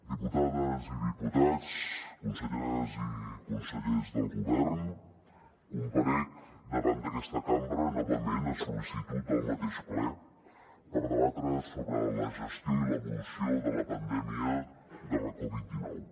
diputades i diputats conselleres i consellers del govern comparec davant d’aquesta cambra novament a sol·licitud del mateix ple per debatre sobre la gestió i l’evolució de la pandèmia de la covid dinou